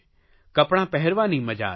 કપડાં પહેરવાની મજા આવે છે